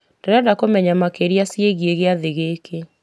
ndĩrenda kũmenya makĩria ciĩgiĩ gĩathĩ gĩkĩ